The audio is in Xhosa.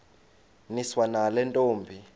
niswa nale ntombi